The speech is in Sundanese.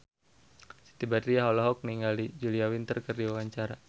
Siti Badriah olohok ningali Julia Winter keur diwawancara